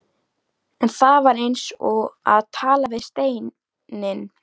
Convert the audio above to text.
En það var eins og að tala við steininn.